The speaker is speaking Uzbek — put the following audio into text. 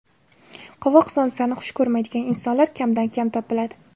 Qovoq somsani xush ko‘rmaydigan insonlar kamdan kam topiladi.